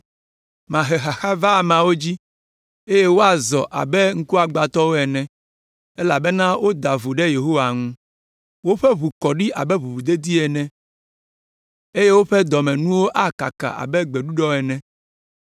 “Mahe xaxa va ameawo dzi, eye woazɔ abe ŋkugbagbãtɔwo ene, elabena woda vo ɖe Yehowa ŋu. Woƒe ʋu akɔ ɖi abe ʋuʋudedi ene, eye woƒe dɔmenuwo akaka abe gbeɖuɖɔ ene.